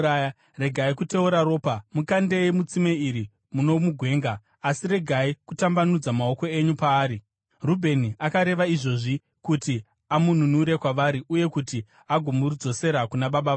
Regai kuteura ropa. Mukandei mutsime iri muno mugwenga, asi regai kutambanudza maoko enyu paari.” Rubheni akareva izvozvi kuti amununure kwavari uye kuti agomudzosera kuna baba vake.